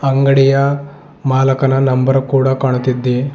ಅಂಗಡಿಯ ಮಾಲಕನ ನಂಬರ್ ಕೂಡ ಕಾಣುತ್ತಿದ್ದೆ.